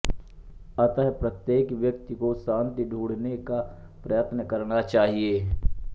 अत प्रत्येक व्यक्ति को शांति ढूँढ़ने का प्रयत्न करना चाहिए